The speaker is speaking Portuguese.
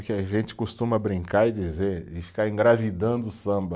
a gente costuma brincar e dizer, e ficar engravidando o samba